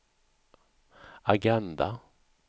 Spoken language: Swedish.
agenda